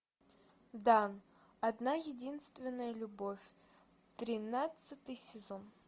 да одна единственная любовь тринадцатый сезон